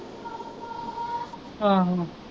ਆਹੋ